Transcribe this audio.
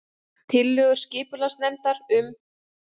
Tillögur skipulagsnefndar um